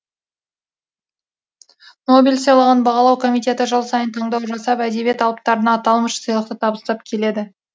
нобель сыйлығын бағалау комитеті жыл сайын таңдау жасап әдебиет алыптарына аталмыш сыйлықты табыстап келеді